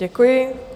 Děkuji.